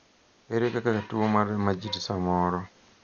erer kaka tuo mar majid samoro